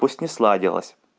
пусть не сладилась